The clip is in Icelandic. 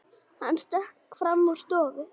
Hann stökk fram í stofu.